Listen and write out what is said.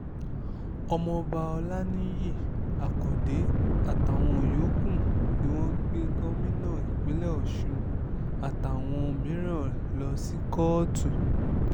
ọmọ ọba ọlaniyi akande atawọn yooku ni wọn gbe gomina ipinle oṣun atawọn miiran lọ si kọọtu